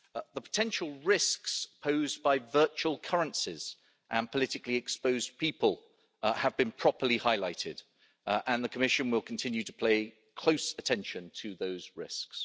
The potential risks posed by virtual currencies and politically exposed people have been properly highlighted, and the Commission will continue to play close attention to those risks.